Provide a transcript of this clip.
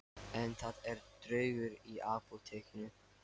En það eru draugar í Apótekinu